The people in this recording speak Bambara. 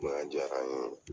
Bonya jara n ye .